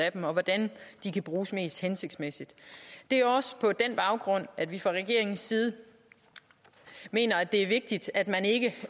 af dem og hvordan de kan bruges mest hensigtsmæssigt det er også på den baggrund at vi fra regeringens side mener at det er vigtigt at man ikke